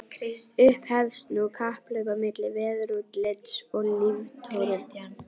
Upphefst nú kapphlaup á milli veðurútlits og líftóru.